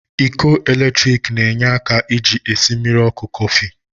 Iko eletrik n'enye aka ji esi mmiri oku Kofi